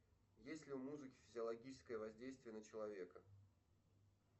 есть ли у музыки физиологическое воздействие на человека